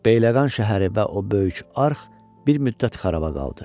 Bəyləqan şəhəri və o böyük arx bir müddət xaraba qaldı.